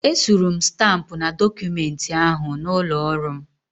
Esuru m stampụ na dọkụmenti ahụ n'ụlọ ọrụ m.